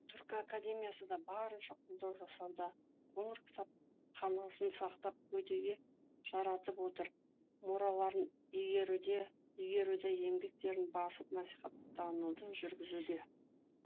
түркі академиясы да барынша қолдау жасауда қоңыр кітапханасын сақтап кәдеге жаратып отыр мұраларын игеруді еңбектерін басып насихаттауды жүргізуде